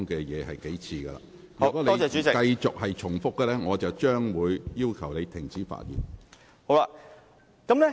如果你繼續重複論點，我會要求你停止發言。